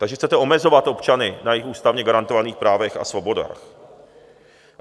Takže chcete omezovat občany na jejich ústavně garantovaných právech a svobodách.